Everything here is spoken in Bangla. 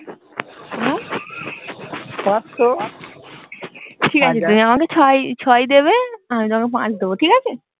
ঠিক আছে তুমি আমাকে ছয় ছয় দেবে আমি তোমাকে পাঁচ দেব ঠিক আছে